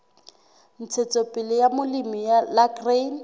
ntshetsopele ya molemi la grain